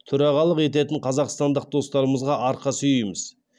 төрағалық ететін қазақстандық достарымызға арқа сүйейміз